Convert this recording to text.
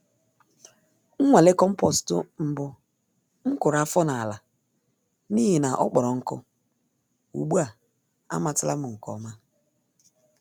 Nnwale compost mbụ m kụrụ afọ n'ala n'ihi na ọ kpọrọ nkụ - ugbu a amatala m nke ọma.